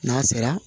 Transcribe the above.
N'a sera